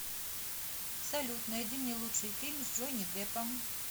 салют найди мне лучший фильм с джонни деппом